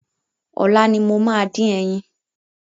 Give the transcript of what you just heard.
Ọ̀la ni mo máa dín ẹyin.